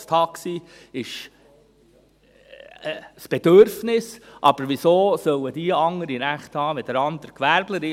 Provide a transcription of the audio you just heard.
Das Taxi ist ein Bedürfnis, aber weshalb sollen diese andere Rechte haben als andere Gewerbler?